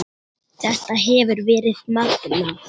Þetta hefur verið magnað.